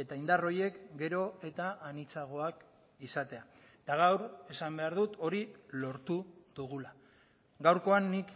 eta indar horiek gero eta anitzagoak izatea eta gaur esan behar dut hori lortu dugula gaurkoan nik